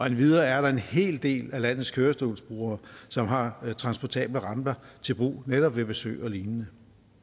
endvidere er der en hel del af landets kørestolsbrugere som har transportable ramper til brug netop ved besøg og lignende